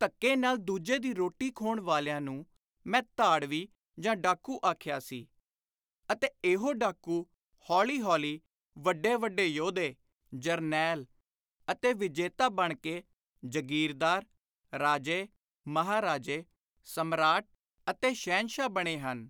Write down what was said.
ਧੱਕੇ ਨਾਲ ਦੂਜੇ ਦੀ ਰੋਟੀ ਖੋਹਣ ਵਾਲਿਆਂ ਨੂੰ ਮੈਂ ਧਾੜਵੀ ਜਾਂ ਡਾਕੁ ਆਖਿਆ ਸੀ ਅਤੇ ਇਹੋ ਡਾਕੂ ਹੌਲੀ ਹੋਲੀ ਵੱਡੇ ਵੱਡੇ ਯੋਧੇ, ਜਰਨੈਲ ਅਤੇ ਵਿਜੇਤਾ ਬਣ ਕੇ ਜਾਗੀਰਦਾਰ, ਰਾਜੇ, ਮਹਾਰਾਜੇ, ਸਮਰਾਟ ਅਤੇ ਸ਼ਹਿਨਸ਼ਾਹ ਬਣੇ ਹਨ।